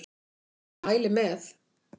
Ég mæli með!